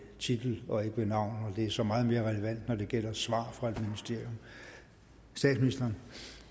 titel og ikke ved navn det er så meget mere relevant når det gælder svar fra et ministerium statsministeren